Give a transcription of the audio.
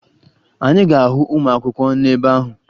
Anyị ga-ahụ ụmụakwụkwọ n'ebe ahụ